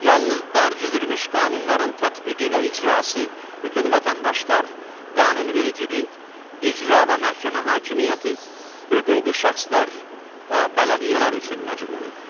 Yalnız dərc edilmiş qanunların tətbiqi və icrası bütün vətəndaşlar, qanunvericilik, icra və məhkəmə hakimiyyəti, hüquqi şəxslər və bələdiyyələr üçün məcburidir.